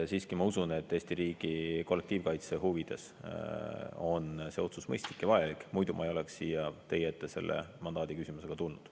Siiski ma usun, et Eesti riigi kollektiivkaitse huvides on see otsus mõistlik ja vajalik, muidu ma ei oleks siia teie ette selle mandaadiküsimusega tulnud.